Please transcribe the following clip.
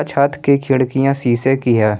छत की खिड़कियाँ शीशे की हैं।